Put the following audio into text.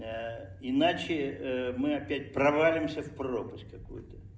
иначе мы опять провалимся в пропасть какую то